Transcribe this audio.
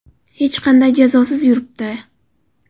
Hech qanday jazosiz yuribdi.